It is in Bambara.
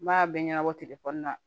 N b'a bɛɛ ɲɛnabɔ telefɔni na